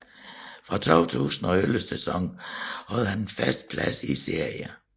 Fra 2011 sæsonen havde han en fast plads i serien